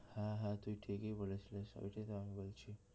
হ্যাঁ হ্যাঁ তুই ঠিকই বলেছিলিস ওইটাই তো আমি বলছি